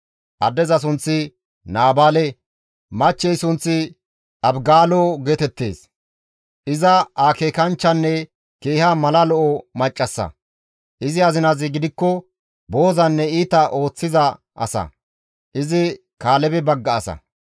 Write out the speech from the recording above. Addeza sunththi Naabaale, machchey sunththi Abigaalo geetettees. Iza akeekanchchanne keeha mala lo7o maccassa; izi azinazi gidikko boozanne iita ooththiza asa. Izi Kaalebe bagga asa.